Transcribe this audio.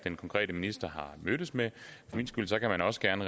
konkrete minister har mødtes med for min skyld kan man også gerne